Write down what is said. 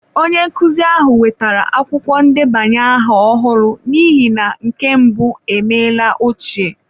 Onye nkụzi ahụ wetara akwụkwọ ndebanye aha ọhụrụ n’ihi na nke mbụ emeela ochie.